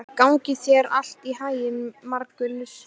Gangi þér allt í haginn, Margunnur.